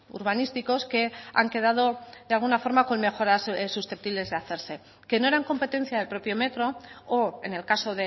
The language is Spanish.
urbanísticos que han quedado de alguna forma con mejoras susceptibles de hacerse que no eran competencia del propio metro o en el caso